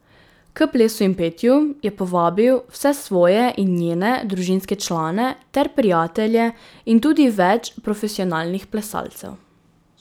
K plesu in petju je povabil vse svoje in njene družinske člane ter prijatelje in tudi več profesionalnih plesalcev.